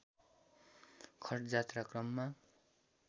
खटजात्राक्रममा